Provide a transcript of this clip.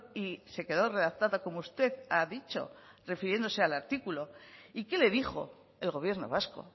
y se quedó redactada como usted ha dicho refiriéndose al artículo y qué le dijo el gobierno vasco